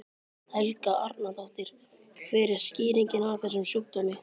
Helga Arnardóttir: Hver er skýringin á þessum sjúkdómi?